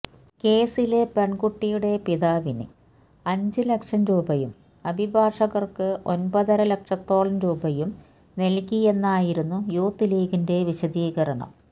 കേസിലെ പെൺകുട്ടിയുടെ പിതാവിന് അഞ്ചു ലക്ഷം രൂപയും അഭിഭാഷകർക്ക് ഒമ്പതര ലക്ഷത്തോളം രൂപയും നൽകിയെന്നായിരുന്നു യൂത്ത് ലീഗിന്റെ വിശദീകരണം